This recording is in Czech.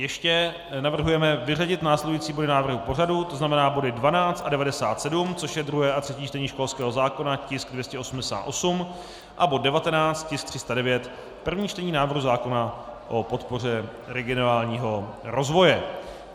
Ještě navrhujeme vyřadit následující body návrhu pořadu, to znamená body 12 a 97, což je druhé a třetí čtení školského zákona, tisk 288, a bod 19, tisk 309, první čtení návrhu zákona o podpoře regionálního rozvoje.